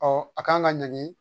a kan ka ɲangi